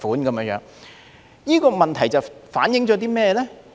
這個問題反映出甚麼呢？